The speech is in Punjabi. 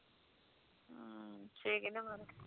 ਹਮ ਛੇ ਕਿਲੋ